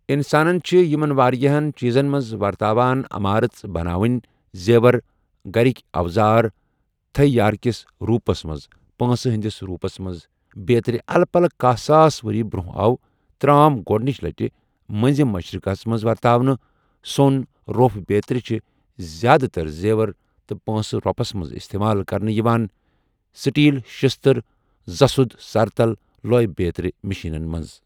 اِنسان چھِ یِمَن وارِیاہَن چیٖزَن مَنٛز وَرتاوان عَمارٔژ بَناوٕنۍ، زیوَر، گَرٕکۍ اَوزار، تھٔۍ یارکِس روٗپَس مَنٛز، پٲنٛسہٕ ہٕنٛدِس روٗپَس مَنٛز بیترِ اَلہٕ پَلہٕ کاہ ساس ؤری برٛۆنٛہہ آو ترٛام گۄڈنٕچہِ لَٹہٕ مٔنٛزِم مَشرِقَس مَنٛز وَرتاونہٕ سۄن، رۄپھ بیترِ چھِ زیٛادٕ تَر زیوَر تہٕ پٲنٛسہٕ روٗپَس مَنٛز اِستِمال کَرنہٕ یِوان، سِٹیٖل، شیٛشتٕر، زَسُد، سَرتَل، لۄے بیترِ مِشیٖنَن مَنٛز۔